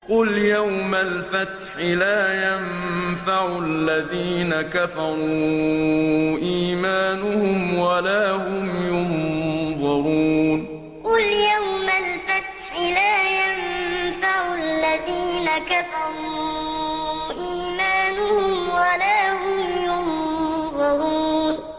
قُلْ يَوْمَ الْفَتْحِ لَا يَنفَعُ الَّذِينَ كَفَرُوا إِيمَانُهُمْ وَلَا هُمْ يُنظَرُونَ قُلْ يَوْمَ الْفَتْحِ لَا يَنفَعُ الَّذِينَ كَفَرُوا إِيمَانُهُمْ وَلَا هُمْ يُنظَرُونَ